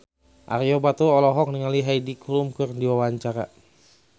Ario Batu olohok ningali Heidi Klum keur diwawancara